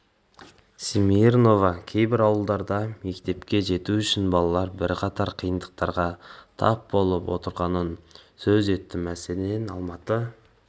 смирнова кейбір ауылдарда мектепке жету үшін балалар бірқатар қиындықтарға тап болып отырғанын сөз етті мәселен алматы